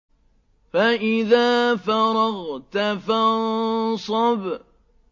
فَإِذَا فَرَغْتَ فَانصَبْ